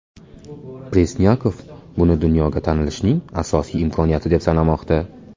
Presnyakov buni dunyoga tanilishning ajoyib imkoniyati deb sanamoqda.